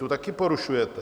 Tu také porušujete.